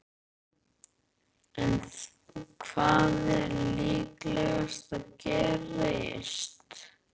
En hvað er líklegast að gerist?